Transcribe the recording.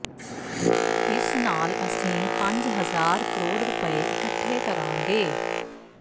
ਇਸ ਨਾਲ ਅਸੀਂ ਪੰਜ ਹਜ਼ਾਰ ਕਰੋੜ ਰੁਪਏ ਇਕੱਠੇ ਕਰਾਂਗੇ